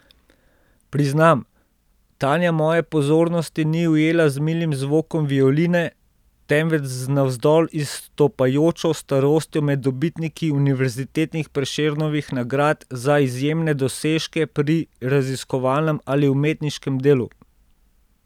Priznam, Tanja moje pozornosti ni ujela z milim zvokom violine, temveč z navzdol izstopajočo starostjo med dobitniki univerzitetnih Prešernovih nagrad za izjemne dosežke pri raziskovalnem ali umetniškem delu.